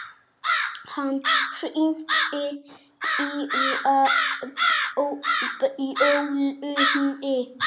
Hann hringdi dyrabjöllunni.